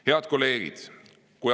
Head kolleegid!